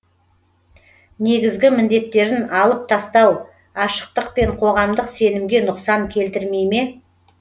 негізгі міндеттерін алып тастау ашықтық пен қоғамдық сенімге нұқсан келтірмей ме